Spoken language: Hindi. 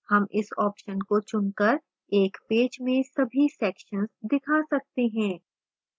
हम इस option को चुनकर एक पेज में सभी sections दिखा सकते हैं